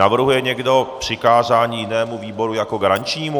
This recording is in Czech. Navrhuje někdo přikázání jinému výboru jako garančnímu?